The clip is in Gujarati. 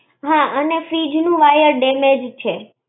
હાં, અને fridge નું wire damage છે.